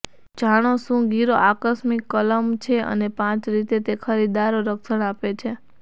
જાણો શું ગીરો આકસ્મિક કલમ છે અને પાંચ રીતે તે ખરીદદારો રક્ષણ આપે છે